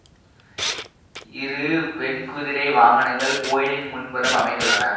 இரு வெண்குதிரை வாகனங்கள் கோயிலின் முன்புறம் அமைந்துள்ளன